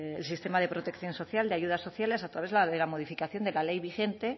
el sistema de protección social de ayudas sociales a través de la modificación de la ley vigente